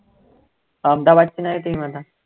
अहमदाबादची नाही team आता